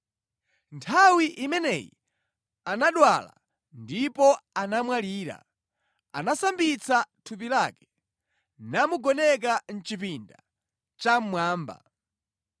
Nthawi imeneyi anadwala ndipo anamwalira, anasambitsa thupi lake, namugoneka mʼchipinda chammwamba.